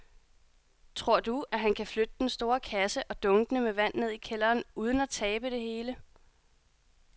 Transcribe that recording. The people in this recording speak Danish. Tror du, at han kan flytte den store kasse og dunkene med vand ned i kælderen uden at tabe det hele?